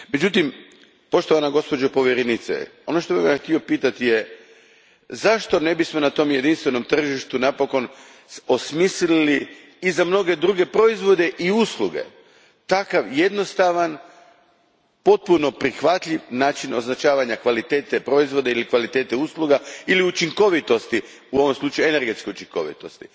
Međutim, poštovana gospođo povjerenice, ono što bih vas htio pitati je zašto ne bismo na tom jedinstvenom tržištu napokon i za mnoge druge proizvode i usluge osmislili takav jednostavan, potpuno prihvatljiv način označavanja kvalitete proizvoda ili kvalitete usluga ili učinkovitosti, u ovom slučaju energetske učinkovitosti?